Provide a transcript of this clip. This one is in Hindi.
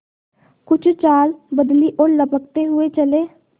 कुछ चाल बदली और लपकते हुए चले